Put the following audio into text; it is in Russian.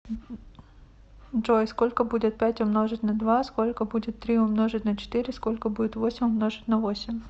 джой сколько будет пять умножить на два сколько будет три умножить на четыре сколько будет восемь умножить на восемь